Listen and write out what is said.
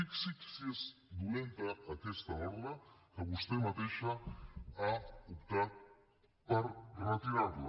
fixi’s si és dolenta aquesta ordre que vostè mateixa ha optat per retirar la